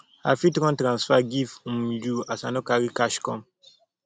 i fit run transfer give um you as i no carry cash come